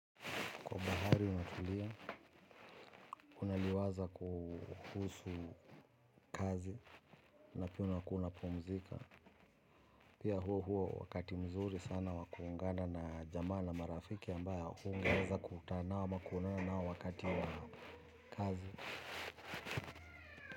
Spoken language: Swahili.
Kwa bahari unatulia, unaliwaza kuhusu kazi, alafu unakuwa unapumzika. Pia huo huo wakati mzuri sana wa kuungana na jamaa na marafiki ambao hungeeza kukutana nao ama kuonana nao wakati ya kazi.